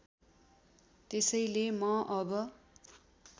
त्यसैले म अब